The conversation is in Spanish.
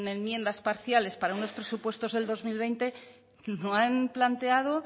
enmiendas parciales para unos presupuestos del dos mil veinte no han planteado